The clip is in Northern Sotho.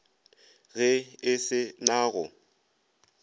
ge e se na go